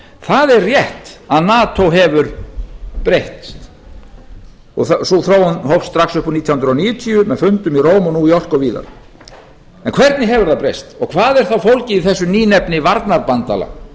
það er rétt að nato hefur breyst og sú þróun hófst strax upp úr nítján hundruð níutíu með fundum í róm new york og víðar en hvernig hefur það breyst og hvað er þá fólgið í þessu nýnefni varnarbandalag